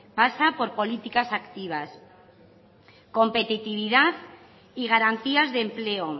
pasa por políticas activas competitividad y garantías de empleo